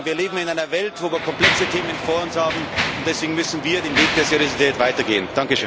Wir leben in einer Welt, wo wir komplexe Themen vor uns haben, und deswegen müssen wir den Weg der Seriosität weitergehen.